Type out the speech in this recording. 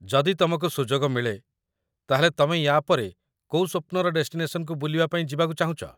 ଯଦି ତମକୁ ସୁଯୋଗ ମିଳେ ତା'ହେଲେ ତମେ ୟା'ପରେ କୋଉ ସ୍ୱପ୍ନର ଡେଷ୍ଟିନେସନ୍‌କୁ ବୁଲିବା ପାଇଁ ଯିବାକୁ ଚାହୁଁଚ?